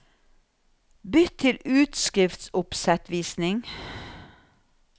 Bytt til utskriftsoppsettvisning